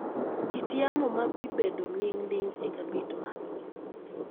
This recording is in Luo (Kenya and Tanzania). kit yamo ma bibedo nining i cabit man